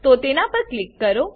તો તેના પર ક્લિક કરો